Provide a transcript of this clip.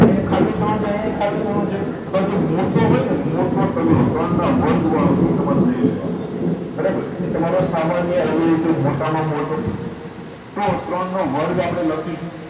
અહિયાં ખાલી ત્રણ છે અહિયાં ખાલી ત્રણ છે તો આ જે મોટો હોય ને મોટો તગડો ત્રણ નાં વર્ગ વાળો એ તમારે લઇ લેવા નો બરાબર એ તમારો સામાન્ય અવયવી છે મોટા માં મોટો તો ત્રણ નો વર્ગ આપડે લખી શું